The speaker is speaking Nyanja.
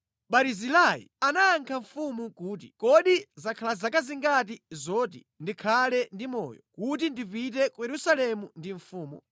Barizilai anayankha mfumu kuti, “Kodi zakhala zaka zingati zoti ndikhale ndi moyo, kuti ndipite ku Yerusalemu ndi mfumu?